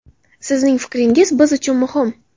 Sizning fikringiz biz uchun muhim!.